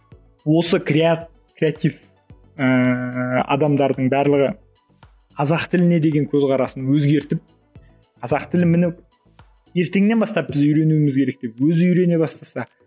осы креатив ііі адамдардың барлығы қазақ тіліне деген көзқарасын өзгертіп қазақ тілін міне ертеңнен бастап біз үйренуіміз керек деп өзі үйрене бастаса